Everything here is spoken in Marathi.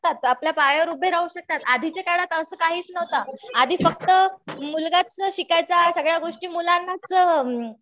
शकतात. आपल्या पायावर उभे राहू शकतात. आधीच्या काळात असं काहीच नव्हतं. आधी फक्त मुलगाच शिकायचा. सगळ्या गोष्टी मुलांनाच